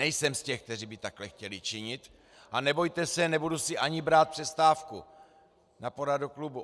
Nejsem z těch, kteří by takhle chtěli činit, a nebojte se, nebudu si ani brát přestávku na poradu klubu.